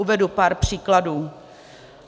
Uvedu pár příkladů.